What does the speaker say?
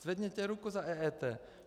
Zvedněte ruku za EET.